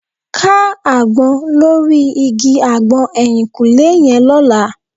Ká àgbọn lórí igi àgbọn ẹ̀yìnkùlẹ́ yẹn lọ́la